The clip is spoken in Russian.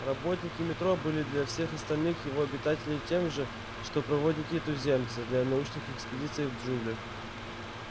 работники метро были для всех остальных его обитателей тем же что проводники-туземцы для научных экспедиций в джунглях